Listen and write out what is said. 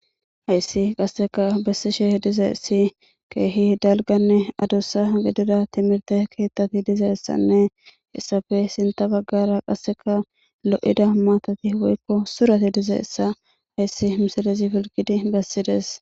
Hayssi qasseka bessishe dizeesi keehi dalganne adossa gidida timirte keettati dizeessanne essafe sinta baggara qasseka lo'ida maatati woykko surati dizeessa hayssi misalezi filgidi bessides.